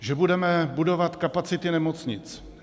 Že budeme budovat kapacity nemocnic.